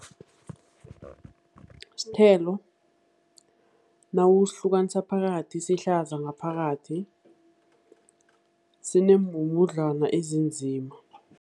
Sithelo nawusihlukanisa phakathi sihlaza ngaphakathi, sinembhubhudlwana ezinzima.